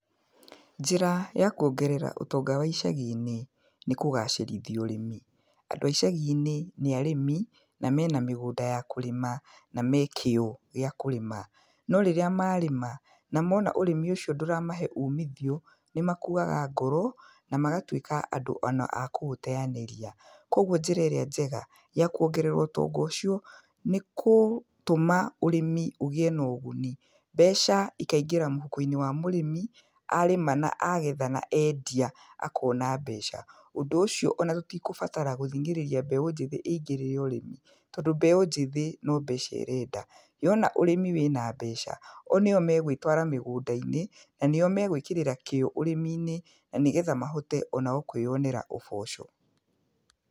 Njĩra ya kuongerera ũtonga wa icagi-inĩ, nĩ kũgacĩrithia ũrĩmi, andũ a icagi-inĩ nĩ arĩmi, na mena mĩgũnda ya kũrĩma, na mekĩo gĩa kũrĩma, norĩrĩa marĩma namona ũrĩmi ũcio ndũramahe umithio, nĩ makuwaga ngoro na magatuĩka andũ ona a kũũteyanĩria, kwoguo njĩra ĩrĩa njega ya kuongerera ũtonga ũcio nĩ gũtũma ũrĩmi ũgĩe naúguni mbeca ikaingĩra mũhuko-inĩ wa mũrĩmi, arĩma, na agetha, na endia, akona mbeca, ũndũ ũcio ona tũtigũbatara gũthingĩrĩria mbeũ njĩthĩ ĩngĩrĩre ũrĩmi, tondũ mbeũ njĩthĩ no mbeca ĩrenda, yona ũrĩmi wĩna mbeca o nĩo megwĩtgwara mĩgũnda-inĩ, nanĩo megwĩkĩrĩra kĩo ũrĩmi-inĩ nanĩgetha mahote onao kwĩyonera ũboco.